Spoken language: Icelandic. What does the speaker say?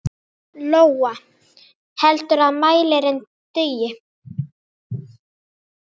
Lóa: Heldurðu að mælirinn dugi?